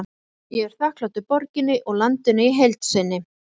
Ég er þakklátur borginni og landinu í heild sinni.